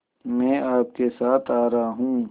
मैं आपके साथ आ रहा हूँ